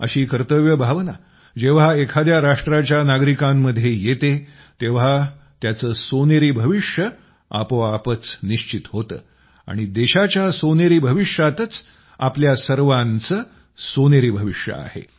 अशी कर्तव्य भावना जेव्हा एखाद्या राष्ट्राच्या नागरिकांमध्ये येते तेव्हा त्याचं सोनेरी भविष्य आपोआपच निश्चित होतं आणि देशाच्या सोनेरी भविष्यातच आमचंही सोनेरी भविष्य आहे